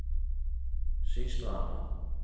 Sistranda